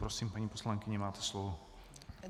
Prosím, paní poslankyně, máte slovo.